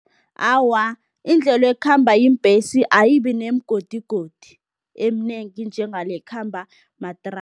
Awa, indlela ekhamba iimbhesi ayibi nemigodigodi eminengi njengale ekhamba